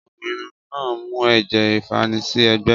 Ọkùnrin náà mu ẹ̀jẹ̀ ìfanisí ẹ́gbẹ́